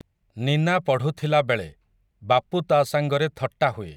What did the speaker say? ନୀନା ପଢ଼ୁଥିଲା ବେଳେ, ବାପୁ ତା' ସାଙ୍ଗରେ ଥଟ୍ଟା ହୁଏ ।